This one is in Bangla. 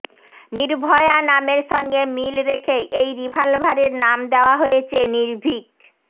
নির্ভয়া নামের সঙ্গে মিল রেখেই এই রিভলভারের নাম দেওয়া হয়েছে নির্ভীক